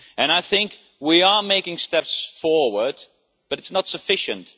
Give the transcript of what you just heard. I think we are making steps forward but it is not sufficient.